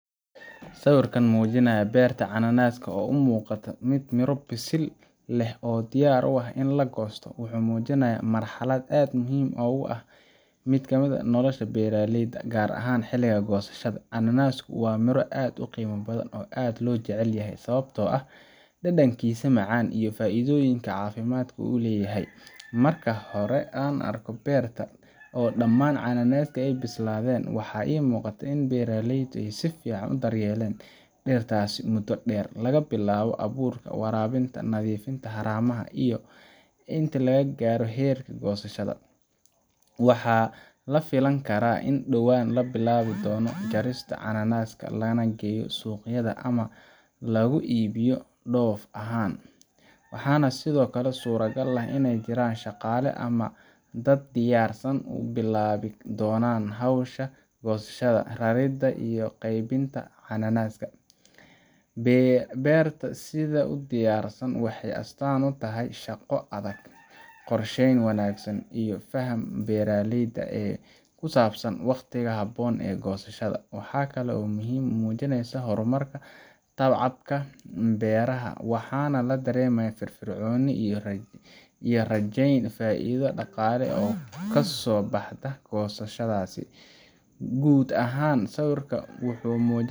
Sawirka muujinaya beerta cananaaska oo u muuqata mid miro bisil leh oo diyaar u ah in la goosto wuxuu muujinayaa marxalad aad muhiim u ah oo ka mid ah nolosha beeraleyda gaar ahaan xilliga goosashada. Cananaasku waa miro aad u qiimo badan oo aad loo jecel yahay sababtoo ah dhadhankiisa macaan iyo faa’iidooyinka caafimaad ee uu leeyahay. Marka la arko beerta oo dhammaan cananaaskii ay bislaadeen, waxaa muuqata in beeraleydu si fiican u daryeelayeen dhirtaas muddo dheer laga bilaabo abuurka, waraabinta, nadiifinta haramaha ilaa ay gaarto heerka goosashada. Waxaa la filan karaa in dhowaan la bilaabi doono jarista cananaasta, lana geeyo suuqyada ama lagu iibiyo dhoof ahaan. Waxaa sidoo kale suuragal ah in ay jiraan shaqaale ama dad diyaarsan oo bilaabi doonan hawsha goosashada, raridda, iyo qaybinta cananaaska. Beerta sidaa u diyaarsan waxay astaan u tahay shaqo adag, qorsheyn wanaagsan, iyo fahamka beeraleyda ee ku saabsan waqtiga habboon ee goosashada. Waxa kale oo ay muujinaysaa horumarka tacabka beeraha, waxaana la dareemayaa firfircooni iyo rajayn faa’iido dhaqaale oo kasoo baxda goosashadaas. Guud ahaan, sawirka wuxuu muujin